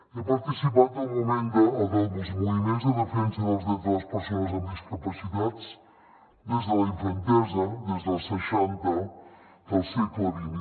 he participat en els moviments de defensa dels drets de les persones amb discapacitats des de la infantesa des dels seixanta del segle xx